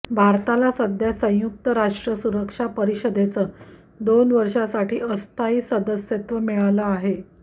भारताला सध्या संयुक्त राष्ट्र सुरक्षा परिषदेचं दोन वर्षांसाठी अस्थायी सदस्यत्व मिळालं आहे